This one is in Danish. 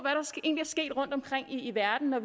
sket rundtomkring i verden for